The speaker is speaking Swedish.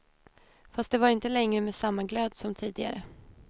Fast det var inte längre med samma glöd som tidigare.